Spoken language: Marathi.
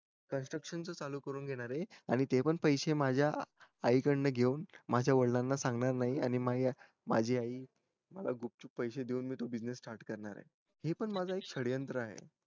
construction चालू करून घेणार ये आणि ते पण पैसे माझ्या आई कडून घेऊन माझ्या वडिलांना सांगणार नाही आणि मी माझी आई गुपचूप पैसे देऊन मी तो business start करणार ये हे पण माझं एक श्रयंत्र आहे